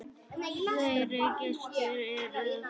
Fleiri gestir eru að koma.